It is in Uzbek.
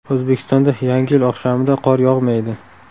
O‘zbekistonda Yangi yil oqshomida qor yog‘maydi.